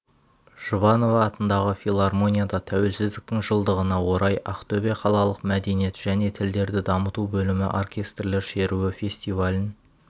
жұбанова атындағы филармонияда тәуелсіздіктің жылдығына орай ақтөбе қалалық мәдениет және тілдерді дамыту бөлімі оркестрлер шеруі фестивалін